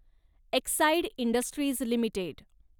Exide industries limited